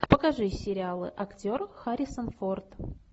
покажи сериалы актер харрисон форд